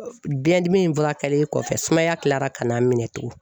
Biyɛndimi fura kɛlen kɔfɛ sumaya kilara ka na n minɛ tugun